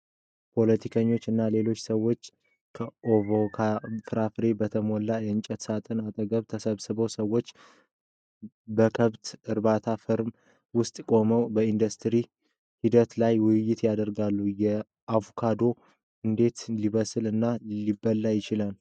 ፖለቲከኞች እና ሌሎች ሰዎች በአቮካዶ ፍራፍሬዎች በተሞሉ የእንጨት ሳጥኖች አጠገብ ተሰብስበዋል። ሰዎች በከብት እርባታ ፋርም ውስጥ ቆመው በኢንዱስትሪ ሂደት ላይ ውይይት ያደርጋሉ። አቮካዶ እንዴት ሊበስል እና ሊበላ ይችላል?